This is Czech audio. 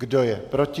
Kdo je proti?